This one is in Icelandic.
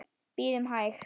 Bíðum hæg.